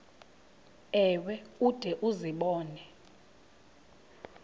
ewe ude uzibone